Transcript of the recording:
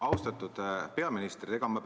Austatud peaminister!